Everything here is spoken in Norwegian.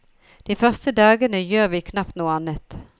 De første dagene gjør vi knapt noe annet.